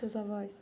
Seus avós.